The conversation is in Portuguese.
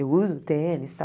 Eu uso tênis, tal?